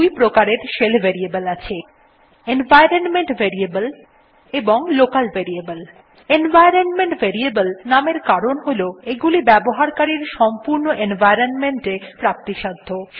দুই প্রকারের shell variable আছে এনভাইরনমেন্ট ভ্যারিয়েবলস এবং লোকাল ভ্যারিয়েবলস এনভাইরনমেন্ট ভেরিয়েবল নামের কারণ হল এগুলি ব্যবহারকারীর সম্পূর্ণ এনভাইরনমেন্ট এ পুরোপুরি ভাবে প্রাপ্তিসাধ্য